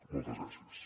moltes gràcies